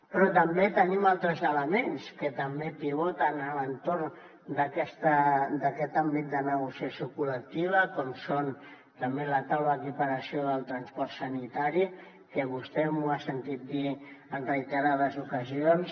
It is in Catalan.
però també tenim altres elements que també pivoten a l’entorn d’aquest àmbit de negociació col·lectiva com és també la taula d’equiparació del transport sanitari que vostè m’ho ha sentit dir en reiterades ocasions